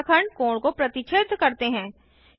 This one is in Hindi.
रेखाखंड कोण को प्रतिच्छेद करते हैं